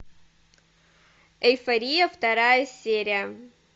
эйфория вторая серия